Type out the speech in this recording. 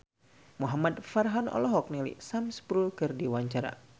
Muhamad Farhan olohok ningali Sam Spruell keur diwawancara